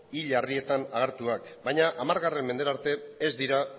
hil harrietan agertuak baina hamargarren mendera arte ez dira